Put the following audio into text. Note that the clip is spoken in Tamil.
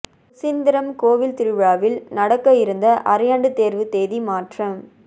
சுசீந்திரம் கோவில் திருவிழாவில் நடக்க இருந்த அரையாண்டு தேர்வு தேதி மாற்றம்